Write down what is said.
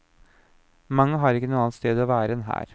Mange har ikke noe annet sted å være enn her.